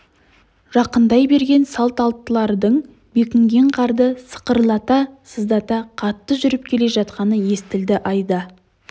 жақындай берген салт аттылардың бекінген қарды сықырлата-сыздата қатты жүріп келе жатқаны естілді айда